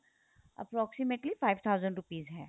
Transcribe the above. approximately five thousand rupees ਹੈ